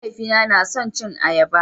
Mahaifina na son cin ayaba